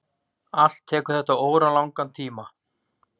Allt tekur þetta óralangan tíma.